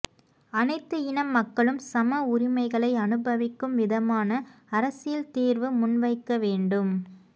அனைத்து இன மக்களும் சம உரிமைகளை அனுபவிக்கும் விதமான அரசியல் தீர்வு முன்வைக்க வேண்டும்